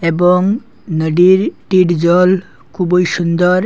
এবং নদীর টির জল খুবই সুন্দর।